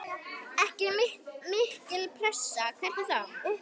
Ekki mikil pressa, hvernig þá?